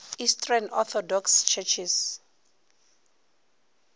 eastern orthodox churches